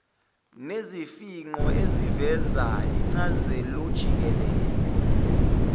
nesifingqo esiveza incazelojikelele